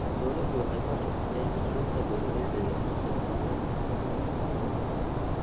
Dawladdu waxay hoos u dhigtay cashuurta beeralayda yar yar si dhaqaalahooda kor loogu qaado.